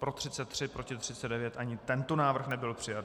Pro 33, proti 39, ani tento návrh nebyl přijat.